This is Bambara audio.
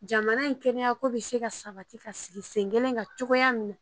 Jamana in kɛnɛ ko bɛ se ka sabati ka sigi sen kelen ka cogoya min na